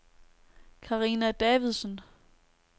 Karina Davidsen